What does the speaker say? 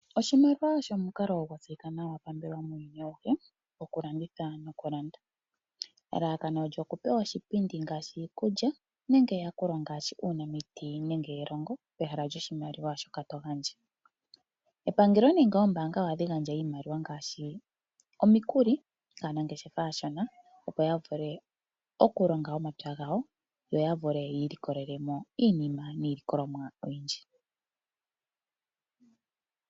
Oshimaliwa osho omukalo gwa tseyika nawa pambelewa muuyuni auhe wokulanditha nokulanda. Elalakano olyo okupewa iipindi ngaashi iikulya nenge eyakulo ngaashi uunamiti nenge elongo pehala lyoshimaliwa shoka to gandja. Epangelo nenge oombaanga ohadhi gandja iimaliwa ngaashi omikuli kaanangeshefa aashona, opo ya vule okulonga omapya gawo yo ya vule yi ilikolele mo iinima niilikolomwa oyindji.